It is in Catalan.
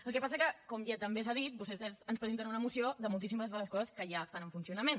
el que passa que com ja també s’ha dit vostès ens presenten una moció de moltíssimes de les coses que ja estan en funcionament